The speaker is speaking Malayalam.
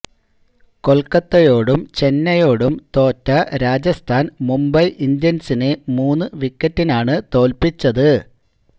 കൊൽക്കത്തയോടും ചെന്നൈയോടും തോറ്റ രാജസ്ഥാൻ മുംബൈ ഇന്ത്യൻസിനെ മൂന്നു വിക്കറ്റിനാണു തോൽപ്പിച്ചത്